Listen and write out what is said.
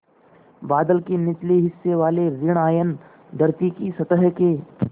बादल के निचले हिस्से वाले ॠण आयन धरती की सतह के